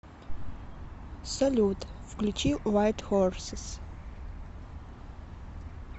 салют включи вайт хорсес